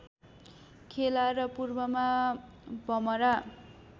खेला र पूर्वमा भमरा